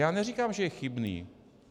Já neříkám, že je chybný.